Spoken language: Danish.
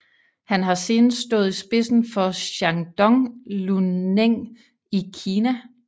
Han har senest stået i spidsen for Shandong Luneng i Kina